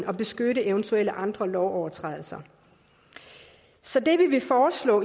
at beskytte eventuelle andre lovovertrædelser så det vi vil foreslå